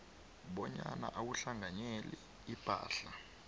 bonyana awuhlanganyeli ipahla